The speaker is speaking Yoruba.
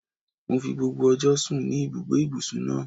Mo fi gbogbo ọjọ́ sùn ní ibùgbé ìbùsùn náà.